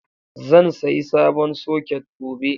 Zan sayi sabon soket gobe.